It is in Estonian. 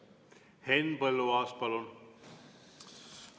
Henn Põlluaas, palun!